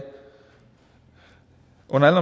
under alle